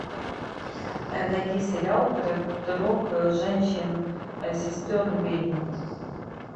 найди сериал про трех женщин сестер ведьм